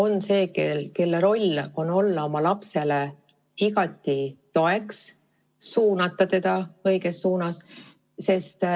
Lapsevanema roll on olla oma lapsele igati toeks ja suunata teda õigesti.